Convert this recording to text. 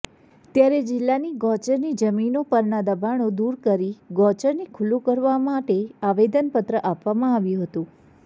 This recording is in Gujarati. ત્યારે જિલ્લાનીગૌચરની જમીનો પરના દબાણો દુર કરી ગૌચરને ખુલ્લુ કરાવવા માટે આવેદનપત્ર આપવામાં આવ્યું હતું